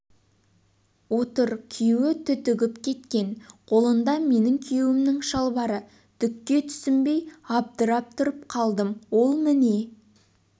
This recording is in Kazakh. отыр күйеуі түтігіп кеткен қолында менің күйеуімнің шалбары түкке түсінбей абдырап тұрып қалдым ол міне